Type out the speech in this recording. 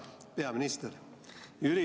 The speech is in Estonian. Hea peaminister!